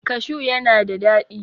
cashu yana da dadi